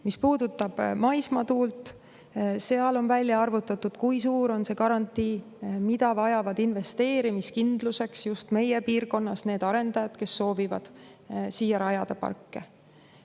Mis puudutab maismaatuult, siis seal on välja arvutatud, kui suur on see garantii, mida vajavad investeerimiskindluseks need arendajad, kes soovivad just meie piirkonnas rajada parke.